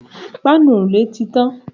Páànù òrùlé tí tàn